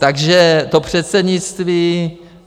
Takže to předsednictví.